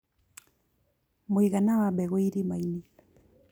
Mũigana wa mbegu irĩma-inĩ